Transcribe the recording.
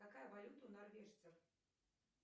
какая валюта у норвежцев